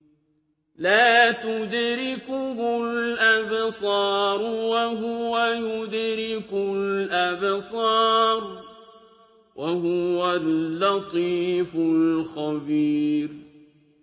لَّا تُدْرِكُهُ الْأَبْصَارُ وَهُوَ يُدْرِكُ الْأَبْصَارَ ۖ وَهُوَ اللَّطِيفُ الْخَبِيرُ